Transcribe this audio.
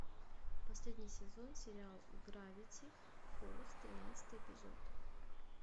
последний сезон сериал гравити фолз тринадцатый эпизод